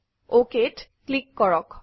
OK ত click কৰক